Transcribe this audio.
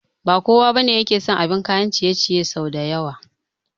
Ba kowa ne yake son abin kayan ciye ciye sau da yawa